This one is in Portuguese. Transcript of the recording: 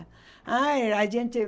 Ai a gente.